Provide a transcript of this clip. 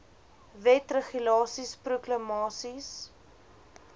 wette regulasies proklamasies